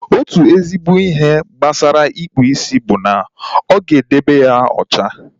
Otu ezigbo ihe gbasara ịkpụ isi bụ na ọ ga-edebe ya ocha